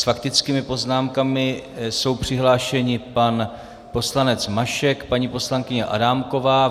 S faktickými poznámkami jsou přihlášeni pan poslanec Mašek, paní poslankyně Adámková.